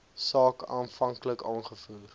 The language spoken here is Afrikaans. saak aanvanklik aangevoer